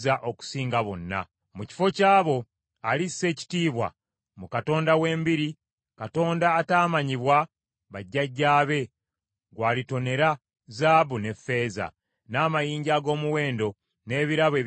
Mu kifo ky’abo, alissa ekitiibwa mu katonda w’embiri, katonda ataamanyibwa bajjajjaabe gwalitonera zaabu ne ffeeza, n’amayinja ag’omuwendo n’ebirabo eby’omuwendo omungi.